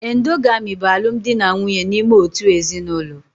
Endogamy bụ alụmdi na nwunye n'ime otu ezinụlọ